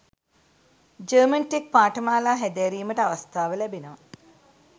German tech පාඨමාලා හැදෑරීමට අවස්ථාව ලැබෙනවා